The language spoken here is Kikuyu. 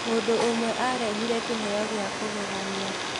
Mũndũ ũmwearehire kĩheo gĩa kũgegania.